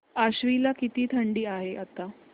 आश्वी ला किती थंडी आहे आता